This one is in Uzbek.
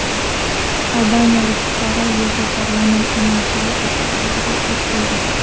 Albaniyalik fuqaro Yevroparlament binosi oldida o‘ziga o‘t qo‘ydi.